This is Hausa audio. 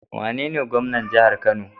Wane gwamnan jahar kano?